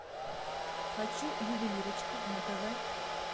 хочу ювелирочка на тв